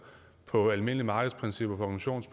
og på almindelige markedsprincipper og